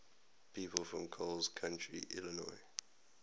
people from coles county illinois